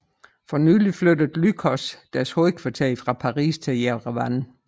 Fornylig flyttede Lycos deres hovedkvarter fra Paris til Jerevan